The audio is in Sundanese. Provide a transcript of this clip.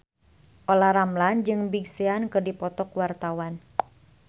Olla Ramlan jeung Big Sean keur dipoto ku wartawan